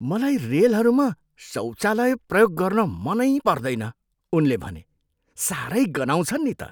मलाई रेलहरूमा शौचालय प्रयोग गर्न मनै पर्दैन, उनले भने, "साह्रै गन्हाउँछन् नि त।"